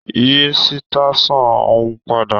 Yí sitasan òun padà!